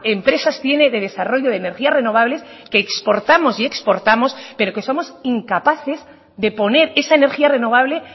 empresas tiene de desarrollo de energías renovables que exportamos y exportamos pero que somos incapaces de poner esa energía renovable